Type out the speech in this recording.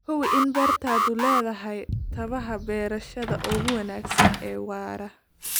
Hubi in beertaadu leedahay tabaha beerashada ugu wanaagsan ee waara.